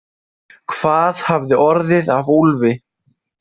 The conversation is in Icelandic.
Hvað hafði orðið af Úlfi?